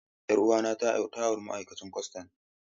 Yar uwata ta auri ma'aikacin kwastan.